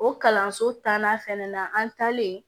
O kalanso tannan fɛnɛ na an talen